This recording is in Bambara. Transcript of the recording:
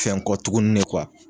Fɛn kɔ tuguni ne